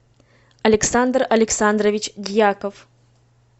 александр александрович дьяков